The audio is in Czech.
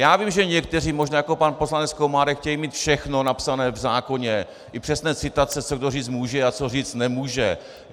Já vím, že někteří, možná jako pan poslanec Komárek, chtějí mít všechno napsané v zákoně, i přesné citace, co kdo říci může a co říci nemůže.